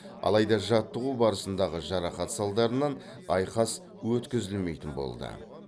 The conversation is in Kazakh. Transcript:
алайда жаттығу барысындағы жарақат салдарынан айқас өткізілмейтін болды